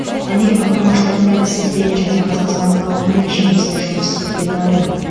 америка құрама штаттары сізбен және қазақстан халқымен жемісті жұмыс істеуге дайын